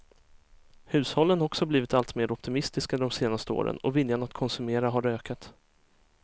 Hushållen har också blivit alltmer optimistiska de senaste åren och viljan att konsumera har ökat.